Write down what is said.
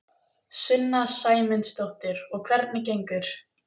Sunna Sæmundsdóttir: Og hvernig gengur?